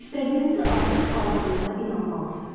İstədiyinizi artıq aldığınıza inanmalısınız.